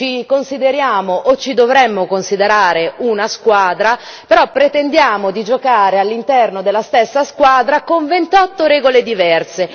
Ci consideriamo o ci dovremmo considerare una squadra, però pretendiamo di giocare all'interno della stessa squadra con 28 regole diverse.